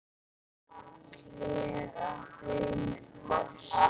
Hver af þeim er bestur?